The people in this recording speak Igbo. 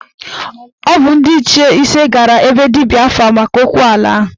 Ọ bụ ndị Ichie ise gara na be dibịa afa maka okwu ala ahụ